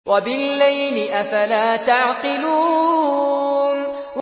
وَبِاللَّيْلِ ۗ أَفَلَا تَعْقِلُونَ